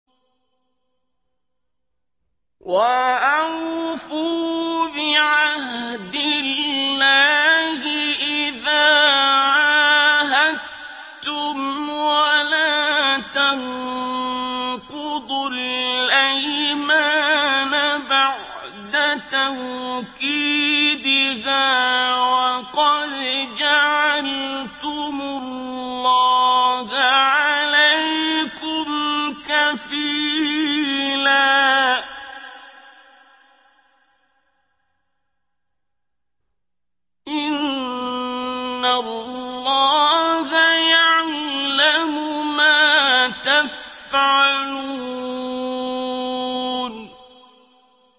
وَأَوْفُوا بِعَهْدِ اللَّهِ إِذَا عَاهَدتُّمْ وَلَا تَنقُضُوا الْأَيْمَانَ بَعْدَ تَوْكِيدِهَا وَقَدْ جَعَلْتُمُ اللَّهَ عَلَيْكُمْ كَفِيلًا ۚ إِنَّ اللَّهَ يَعْلَمُ مَا تَفْعَلُونَ